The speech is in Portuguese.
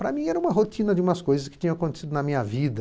Para mim, era uma rotina de umas coisas que tinham acontecido na minha vida.